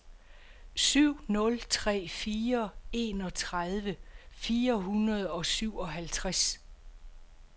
syv nul tre fire enogtredive fire hundrede og syvoghalvtreds